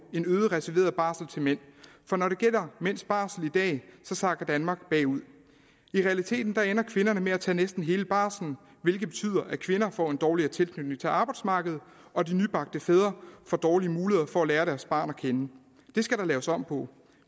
en øget reserveret barsel til mænd for når det gælder mænds barsel i dag sakker danmark bagud i realiteten ender kvinderne med at tage næsten hele barslen hvilket betyder at kvinder får en dårligere tilknytning til arbejdsmarkedet og de nybagte fædre får dårlige muligheder for at lære deres barn at kende det skal der laves om på